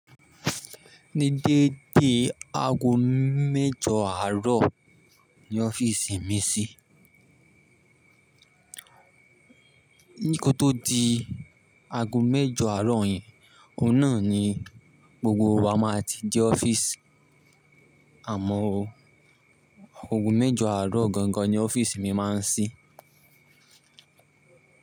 Ni dédé ago méjọ àárọ̀ ni ọ́fíìsì mi ṣí. Ní kó tó di ago méjọ àárọ̀ yẹn, ọ̀hun nà ni gbogbo wa máa ti dé ọ́fíìsì, àmọ́ o ago méjọ àárọ̀ gangan ni ọ́fíìsì mi máa ń ṣí.